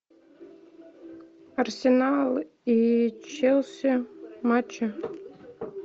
арсенал и челси матчи